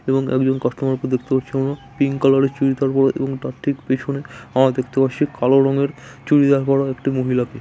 এবং একজন কাস্টমারকে দেখতে পাচ্ছি আমরা পিংক কালারের চুরিদার এবং তার ঠিক পেছনে কালো রঙের চুড়িদার পড়া একটি মহিলাকে।